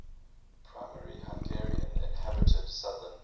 primarily hungarian inhabited southern